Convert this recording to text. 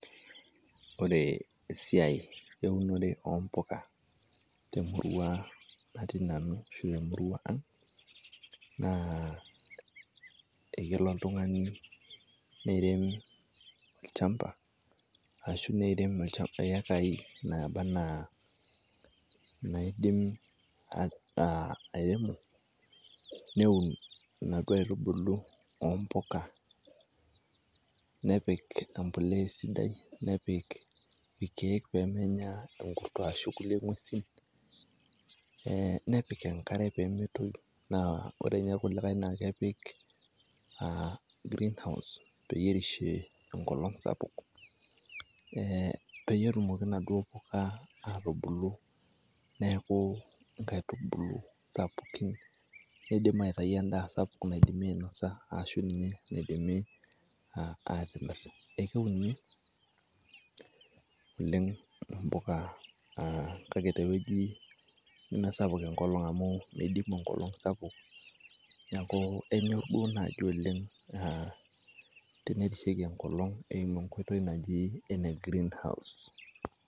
Ore esiai eunore o mpuka te murrua natii nanu ashu te murrua ang' naa kelo oltung'ani neremi olchamba ashu neirem ekai naaba anaa naidim airemo neun inaduo aitubulu o mpuka, nepik embolea esidai, nepik irkeek pee menye enkurto ashu kulie ng'uesin. Nepik enkare pee metoyu naa kore nye kulikai naa kepik greenhouse peyie erishie enkolong' sapuk, peyie etumoki naduo puka atubulu neeku nkaitubulu sapukin nidim aitayu endaa sapuk naidimi ainosa ashu ninye naidimi atimir. A keuni oleng' mpuka kake tewueji nemesapuk enkolong' amu midimu enkolong' sapuk neeku enyor duo naaji oleng' tenerishieki enkolong' eumu enkoitoi najii greenhouse.